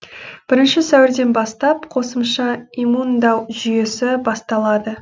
бірінші сәуірден бастап қосымша иммундау жүйесі басталады